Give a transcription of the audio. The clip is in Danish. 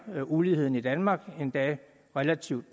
uligheden i danmark endda relativt